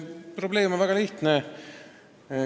Probleem on väga lihtne.